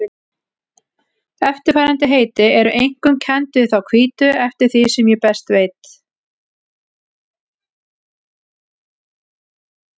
Eftirfarandi heiti eru einkum kennd við þá hvítu eftir því sem ég best veit.